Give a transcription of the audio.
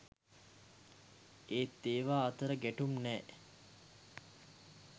ඒත් ඒවා අතර ගැටුම් නෑ